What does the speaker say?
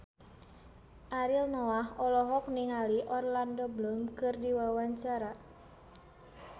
Ariel Noah olohok ningali Orlando Bloom keur diwawancara